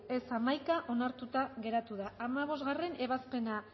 boto aldekoa once contra onartuta geratu da hamabostgarrena ebazpena